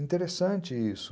Interessante isso.